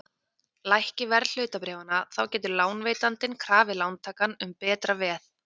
Lækki verð hlutabréfanna þá getur lánveitandinn krafið lántakann um betra veð.